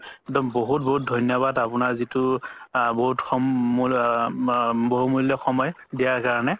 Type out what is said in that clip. একদম বহুত বহুত ধন্যবাদ আপুনাৰ যিতো বহুমুলীয়া সময় দিয়াৰ কাৰণে